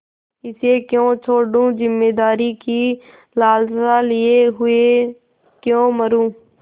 इसे क्यों छोडूँ जमींदारी की लालसा लिये हुए क्यों मरुँ